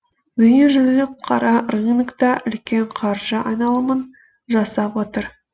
дүниежүзілік қара рынок та үлкен қаржы айналымын жасап отыр